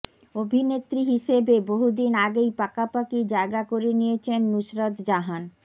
অভিনেত্রী হিসেবে বহুদিন আগেই পাকাপাকি জায়গা করে নিয়েছেন নুসরত জাহান